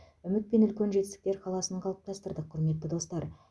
үміт пен үлкен жетістіктер қаласын қалыптастырдық құрметті достар